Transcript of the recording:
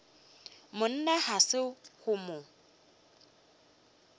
monna ga se go mo